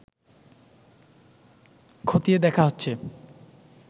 খতিয়ে দেখা হচ্ছে